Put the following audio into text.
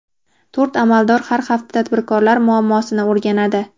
To‘rt amaldor har hafta tadbirkorlar muammosini o‘rganadi.